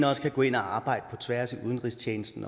også kan gå ind og arbejde på tværs i udenrigstjenesten